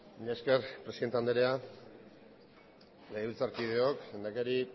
mila esker presidente anderea legebiltzarkideok lehendakari